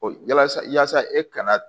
Yasa yasa e kana